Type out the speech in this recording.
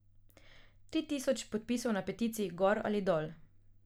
Tri tisoč podpisov na peticiji gor ali dol.